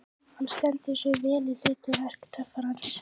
Hann stendur sig vel í hlut verki töffarans.